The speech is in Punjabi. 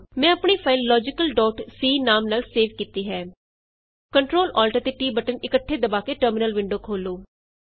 ਮੈਂ ਆਪਣੀ ਫਾਈਲ ਲੋਜੀਕਲc logicalਸੀ ਨਾਮ ਨਾਲ ਸੇਵ ਕੀਤੀ ਹੈ Ctrl Alt ਅਤੇ T ਬਟਨ ਇੱਕਠੇ ਦਬਾ ਕੇ ਟਰਮਿਨਲ ਵਿੰਡੋ ਖੋਲ੍ਹੋ